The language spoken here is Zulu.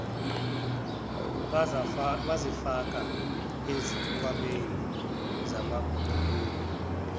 bazifake ezikhwameni zamabhulukwe